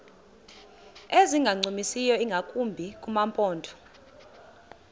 ezingancumisiyo ingakumbi kumaphondo